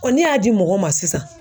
n'e y'a di mɔgɔw ma sisan